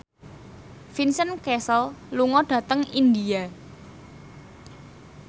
Vincent Cassel lunga dhateng India